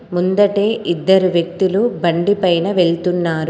ముందటి ఇద్దరు వ్యక్తులు బండి పైన వెళ్తున్నారు.